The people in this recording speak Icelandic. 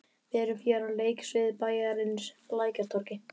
Við erum hér á leiksviði bæjarins, Lækjartorgi.